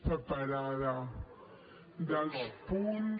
separada dels punts